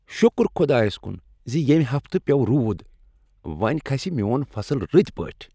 شکر خدایس کن ز ییٚمہ ہفتہٕ پیوٚو روٗد۔ وۄنۍ کھسہ میون فصل رٕتۍ پٲٹھۍ۔